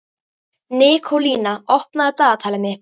Nikólína, opnaðu dagatalið mitt.